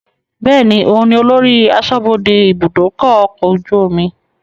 Bẹ́ẹ̀ni, òun ni olórí aṣọ́bodè ibùdókọ̀ ọkọ̀ ojú omi